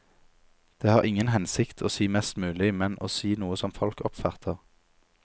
Det har ingen hensikt å si mest mulig, men å si noe som folk oppfatter.